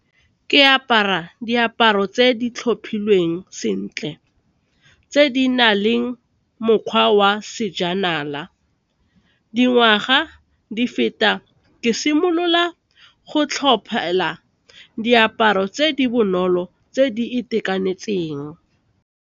Ke apara diaparo tse di tlhophilweng sentle, tse di na leng mokgwa wa sejanala, dingwaga di feta ke simolola go tlhopha tsela diaparo tse di bonolo tse di itekanetseng.